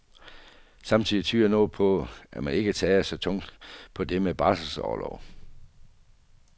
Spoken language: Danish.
Samtidig tyder noget på, at man ikke tager så tungt på det med barselsorlov.